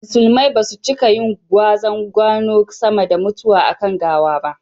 Musulumai basu cika yin gwazan gano sama da mutuwa a kan gawa ba